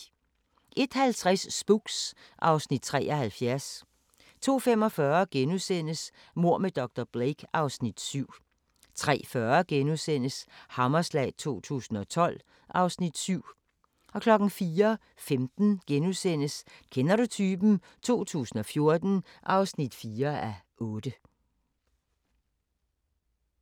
01:50: Spooks (Afs. 73) 02:45: Mord med dr. Blake (Afs. 7)* 03:40: Hammerslag 2012 (Afs. 7)* 04:15: Kender du typen? 2014 (4:8)*